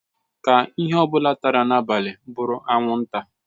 Ka ihe ọ bụla tara n'abalị bụrụ anwụnta.